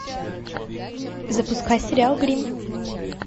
запускай сериал гримм